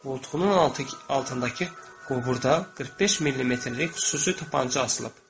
Qoltuğunun altındakı qoburda 45 millimetrlik xüsusi tapança asılıb.